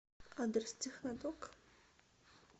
адрес технодок